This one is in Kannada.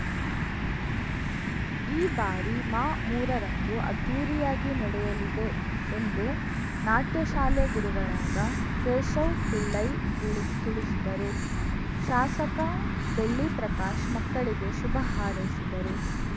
ಈ ಬಾರಿ ಮಾಮೂರ ರಂದು ಅದ್ಧೂರಿಯಾಗಿ ನಡೆಯಲಿದೆ ಎಂದು ನಾಟ್ಯ ಶಾಲೆ ಗುರುಗಳಾದ ಕೇಶವ್‌ ಪಿಳ್ಳೈ ದಿಳಿ ತಿಳಿಸಿದರು ಶಾಸಕ ಬೆಳ್ಳಿ ಪ್ರಕಾಶ್‌ ಮಕ್ಕಳಿಗೆ ಶುಭ ಹಾರೈಸಿದರು